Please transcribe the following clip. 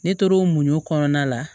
Ne tor'o muɲu kɔnɔna la